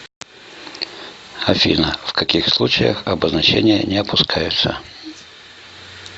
афина в каких случаях обозначения не опускаются